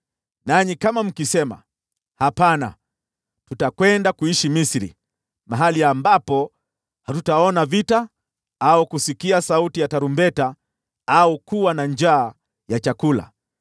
nanyi kama mkisema, ‘Hapana, tutakwenda kuishi Misri, mahali ambapo hatutaona vita au kusikia sauti ya tarumbeta au kuwa na njaa ya chakula,’